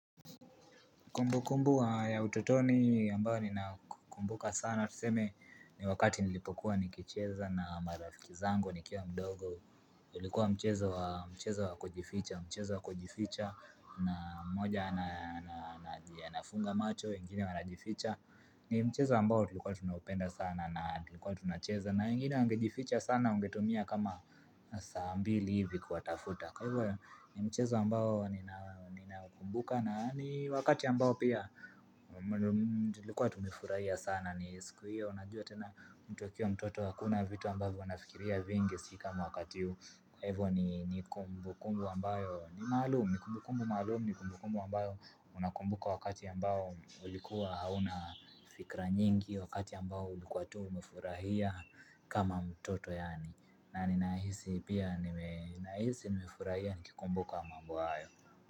Kumbukumbu ya ututoni ambayo ninakumbuka sana tuseme ni wakati nilipokuwa nikicheza na marafiki zangu nikiwa mdogo ilikuwa mchezo wa mchezo wa kujificha mchezo wa kujificha na mmoja anafunga macho wengine wanajificha ni mchezo ambao tulikuwa tunaupenda sana na tulikuwa tunacheza na wengine wangejificha sana ungetumia kama saa mbili hivi kuwatafuta kwa hivyo ni mchezo ambao ninakumbuka na wakati ambao pia Tulikuwa tumefurahia sana ni siku hiyo unajua tena mtu akiwa mtoto hakuna vitu ambavyo anafikiria vingi si kama wakati huu Kwa hivyo ni kumbukumbu ambayo ni maalumu, ni kumbukumbu maalumu ni kumbukumbu ambayo unakumbuka wakati ambao ulikuwa hauna fikra nyingi wakati ambao ulikuwa tu umefurahia kama mtoto yaani ninahisi pia nime nahisi nimefurahia nikikumbuka mambo hayo.